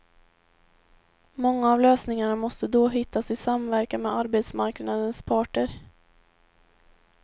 Många av lösningarna måste då hittas i samverkan med arbetsmarknadens parter.